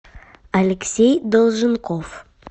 алексей долженков